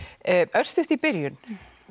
örstutt í byrjun